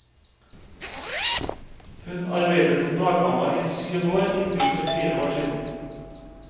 Hun arbeidet som dagmamma i syv år inntil for fire år siden.